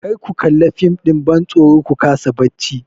Kar ku kalla fim ɗin bantsoro ku kasa bacci!